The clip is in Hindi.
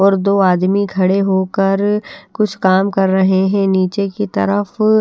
और दो आदमी खड़े होकर कुछ काम कर रहे हैं नीचे की तरफ--